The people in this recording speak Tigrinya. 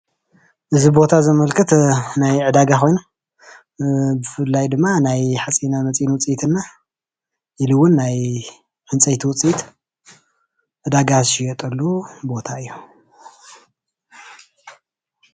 እዚ ቦታ ዘመልክት ናይ ዕዳጋ ኮይኑ ብፍላይ ድማ ናይ ሓፂነመፅን ውፅኢት እና ኢሉ እውን ናይ ዕንፀይቲ ውፅኢ ዕዳጋ ዝሽየጠሉ ቦታ እዩ፡፡